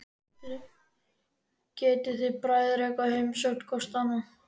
Getið þið bræður eitthvað heimsótt hvor annan?